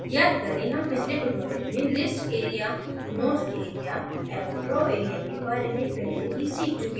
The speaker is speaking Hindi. याद करें हम पिछले tutorial में list area notes area एवं draw area के बारे में पहले ही सीख चुके हैं